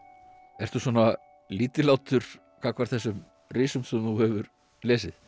ertu svona lítillátur gagnvart þessum risum sem þú hefur lesið